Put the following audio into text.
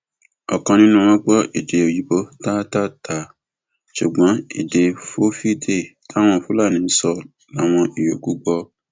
ọkan nínú wọn gbọ èdè òyìnbó táátáatáa ṣùgbọn èdè fulfilde táwọn fúlàní ń sọ láwọn yòókù gbọ